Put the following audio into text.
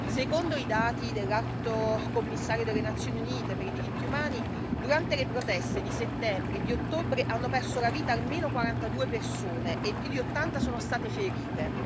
Secondo i dati dell'Alto commissario delle Nazioni Unite per i diritti umani, durante le proteste di settembre e di ottobre hanno perso la vita almeno 42 persone e più di 80 sono state ferite.